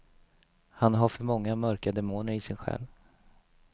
Han har för många mörka demoner i sin själ.